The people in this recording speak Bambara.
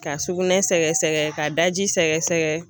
Ka sugunɛ sɛgɛsɛgɛ ka daji sɛgɛsɛgɛ